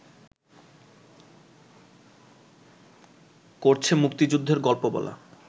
করছে মুক্তিযুদ্ধের গল্পবলা